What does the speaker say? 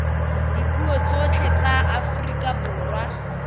dipuo tsotlhe tsa aforika borwa